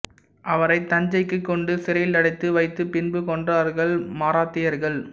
அவரை தஞ்சைக்கு கொண்டு சிறையிலடைத்து வைத்து பின்பு கொன்றார்கள் மராத்தியர்கள்